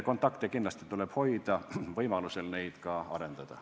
Kontakte tuleb kindlasti hoida, võimaluse korral neid ka arendada.